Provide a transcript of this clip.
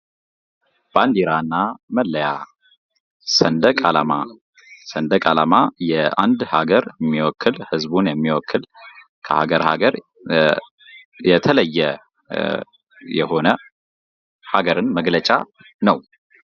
ባንዲራ እና መለያ ሰንደቃላማ ሰንደቅ ዓላማ የአንድ ሀገር የሚወክል ህዝቡን የሚወክል ከሀገር ሀገር የተለየ የሆነ ሃገርን መግለጫ ነው።